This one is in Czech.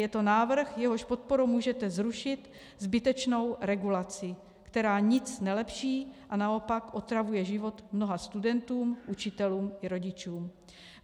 Je to návrh, jehož podporou můžete zrušit zbytečnou regulaci, která nic nelepší a naopak otravuje život mnoha studentům, učitelům i rodičům.